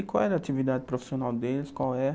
E qual era a atividade profissional deles, qual é?